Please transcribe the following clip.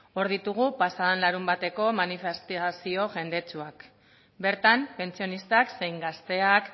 hor ditugu pasa den larunbateko manifestazio jendetsuak bertan pentsionistak zein gazteak